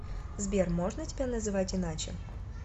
сбер можно тебя называть иначе